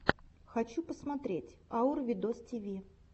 хочу посмотреть аур видостиви